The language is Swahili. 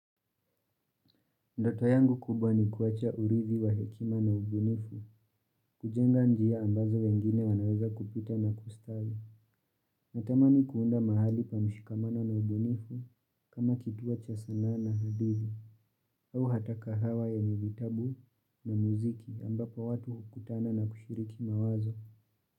Ndoto yangu kubwa ni kuwacha urithi wa hekima na ubunifu kujenga njia ambazo wengine wanaweza kupita na kustawi. Natamani kuunda mahali pameshikamana na ubunifu kama kituo cha sanaa na hadithi au hata kahawa yenye vitabu na muziki ambapo watu hukutana na kushiriki mawazo.